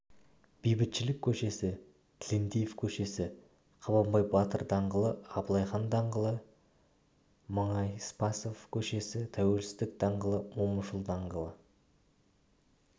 бейбітшілік к-сі тілендиев к-сі қабанбай батыр даңғ абылайхан даңғ мұңайспасов к-сі тәуелсіздік даңғ момышұлы даңғ